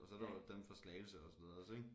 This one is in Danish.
Og så er der jo dem fra Slagelse og så videre også ikke